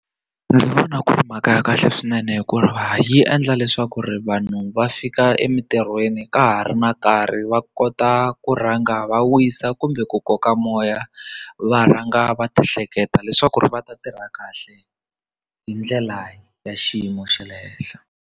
Ndzi vona ku ri mhaka ya kahle swinene hikuva yi endla leswaku ri vanhu va fika emitirhweni ka ha ri na nkarhi va kota ku rhanga va wisa kumbe ku koka moya va rhanga va ti hleketa leswaku ri va ta tirha kahle hi ndlela ya xiyimo xa le henhla.